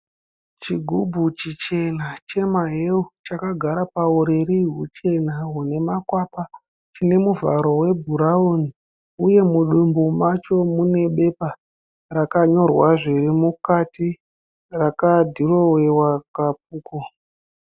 Chigubhu chichena chemahewu chakagara pauriri huchena hune makwapa, chine muvharo webhurauni uye mudumbu macho munebepa rakanyorwa zviri mukati rakadhirowewa kapfuko.